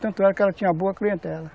Tanto é que ela tinha boa clientela.